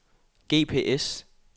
GPS